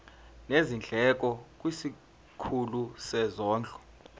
nezindleko kwisikhulu sezondlo